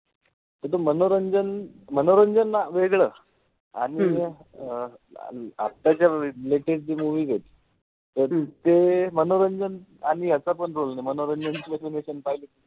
मनोरंजन मनोरंजन वेगळं. आताच्या latest जे movies एत. तर ते मनोरंजन आणि मनोरंजन